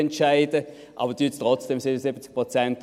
Aber unterstützten Sie trotzdem die 77 Prozent.